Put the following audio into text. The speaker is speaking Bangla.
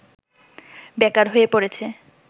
বেকার হয়ে পড়েছে